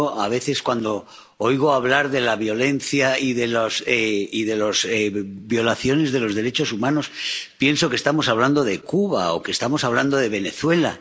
Yo, a veces, cuando oigo hablar de la violencia y de las violaciones de los derechos humanos, pienso que estamos hablando de Cuba, o que estamos hablando de Venezuela.